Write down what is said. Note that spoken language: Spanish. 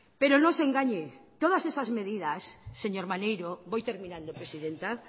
pero no se engañe todas esas medidas señor maneiro voy terminando presidenta